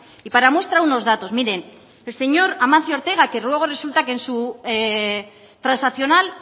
y para nuestra unos datos miren el señor amancio ortega que luego resulta que en su transaccional